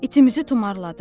İtimizi tumarladım.